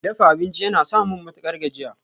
Dafa abinci yana samun matukar gajiya.